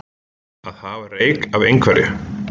Að hafa reyk af einhverju